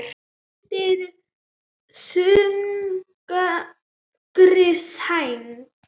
Undir þungri sæng